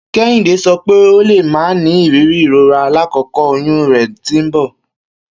Kehinde sọ pe o le ma ni iriri irora lakoko oyun rẹ ti nbọ.